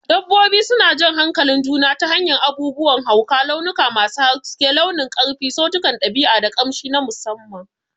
Dabbobi suna jan hankalin juna ta hanyar abubuwan hauka, launuka masu haske, nunin ƙarfi, sautunan ɗabi'a, da ƙamshi na musamman.